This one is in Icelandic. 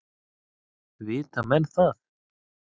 Vita menn það?